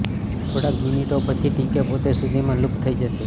થોડીક મિનિટો પછી ટીક પોતે સુધીમાં લુપ્ત થઇ જશે